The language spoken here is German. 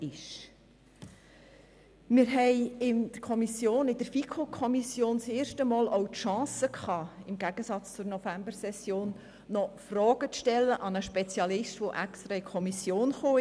Wir haben in der FiKo im Gegensatz zur Novembersession nun das erste Mal auch die Chance erhalten, Fragen an einen Spezialisten zu stellen, der dafür extra in die Kommission kam.